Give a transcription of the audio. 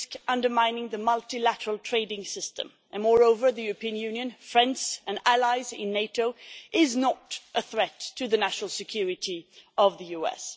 They risk undermining the multilateral trading system and, moreover, the European Union which is made up of friends and allies in NATO is not a threat to the national security of the US.